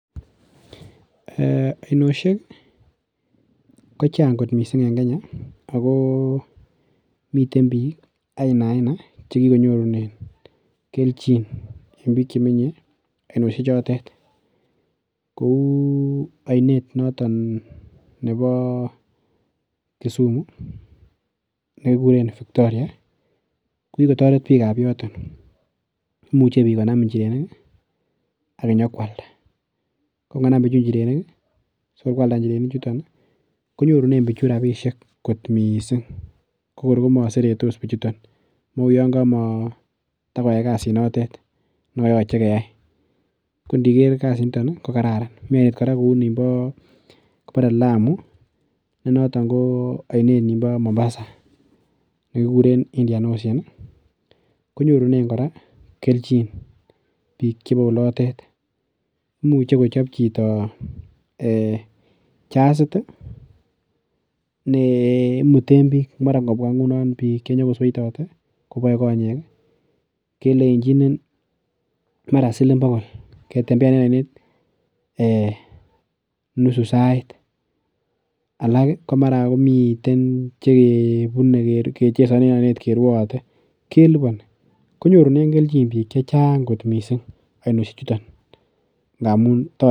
Ee! Ainosiek ko chang kot mising en Kenya. Ago miten biikainaaina che kikonyorune keljin en biik che menye ainosie chotet. Kou ainet notok nebo Kisumu nekikuren Victoria kokikotaret biikab yoton. Imuche biik konam injirenik ak inyokwalda ko ingonam bichu injirenik sikoi kwalda inirenichuto konyorune biichu rapisiek kot mising kokor komaseretos biichuto amun yon kamatokoyai kasit notet ne kayoche keyai. Ko ndiger kasit nito ko karara. Mi ainet kora kou nimbo, kibore Lamu ne noto ko ainet nimbo Mombasa nekikuren Indian Ocean, konyorunen kora kelkjin biikchebo olotet. Imuche kochop chito ee jasit ne imuten biik. Mara ingobwa ngunon biik che nyokosoitate koboe konyek, kelenjinin marasiling bogol ketembean en oinet ee nusu sait. Alak ko mara komiten chekebune kechesonen en oinet kerwaate kelubani. Konyorunen kelkin biik che chang kot mising ainosiechuton ngamun toret